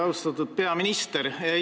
Austatud peaminister!